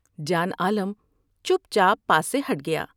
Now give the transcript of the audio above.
جان عالم چپ چاپ پاس سے ہٹ گیا ۔